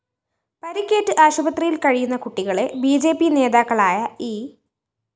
പരിക്കേറ്റ് ആശുപത്രിയില്‍ കഴിയുന്ന കുട്ടികളെ ബി ജെ പി നേതാക്കളായ ഇ